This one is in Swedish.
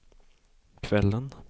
kvällen